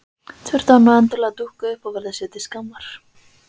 Þurfti hann nú endilega að dúkka upp og verða sér til skammar!